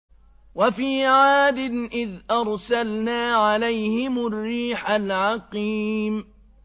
وَفِي عَادٍ إِذْ أَرْسَلْنَا عَلَيْهِمُ الرِّيحَ الْعَقِيمَ